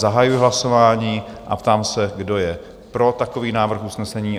Zahajuji hlasování a ptám se, kdo je pro takový návrh usnesení?